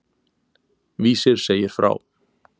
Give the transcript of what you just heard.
Vísir segir frá.